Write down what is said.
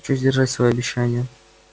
хочу сдержать своё обещание